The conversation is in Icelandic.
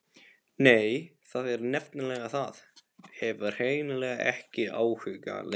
Nei, það er nefnilega það, hef hreinlega ekki áhuga lengur.